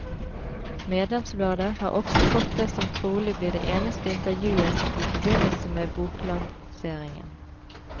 Medlemsbladet har også fått det som trolig blir det eneste intervjuet i forbindelse med boklanseringen.